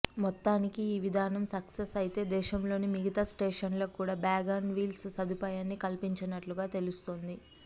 మొత్తానికి ఈ విధానం సక్సెస్ అయితే దేశంలోని మిగతా స్టేషన్లకు కూడా బ్యాగ్ ఆన్ వీల్స్ సదుపాయాన్ని కల్పించనున్నట్లుగా తెలుస్తుంది